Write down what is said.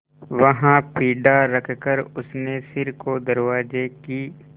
वहाँ पीढ़ा रखकर उसने सिर को दरवाजे की